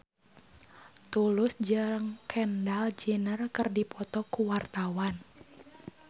Tulus jeung Kendall Jenner keur dipoto ku wartawan